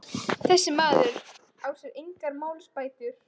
Þessi maður á sér engar málsbætur.